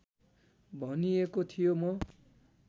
भनिएको थियो म